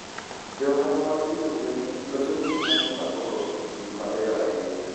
Jo ohala mag pidho gwen loso gik ma gipakogo gik mabeyo ahinya.